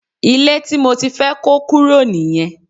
Ilé tí mo ti fẹ́ kó kúrò nìyẹn